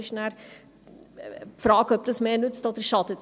Die Frage ist, ob das mehr nützt oder schadet.